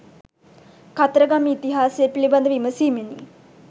කතරගම ඉතිහාසය පිළිබඳ විමසීමෙනි.